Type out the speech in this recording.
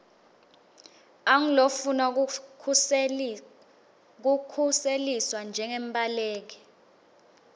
angulofuna kukhuseliswa njengembaleki